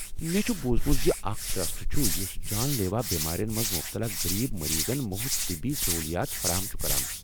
مےٚ چُھ بوزمُت زِ اکھ ٹرٛسٹ چُھ یُس جان لیوا بیمارٮ۪ن منٛز مُبتلا غریب مریضن مُفت طبی سہولیات فراہم چُھ کران۔